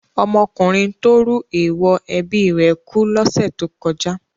Ọmọkùnrin tó rú èèwọ̀ ẹbí rẹ̀ kú lọ́sẹ̀ tó kọjá.